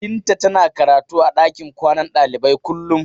Binta tana karatu a ɗakin kwanan ɗalibai kullum.